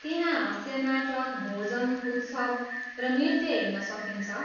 त्यहाँ हास्य नाटक, भोजन उत्सव र नृत्य हेर्न सकिन्छ।